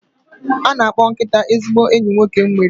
A na-akpọ nkịta ezigbo enyi nwoke nwere